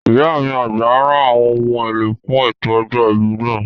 Ìyá mi àgbà ra àwọn ohun èlò fún ètò ọjọ́ ìbí náà